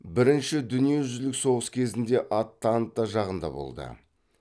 бірінші дүниежүзілік соғыс кезінде антанта жағында болды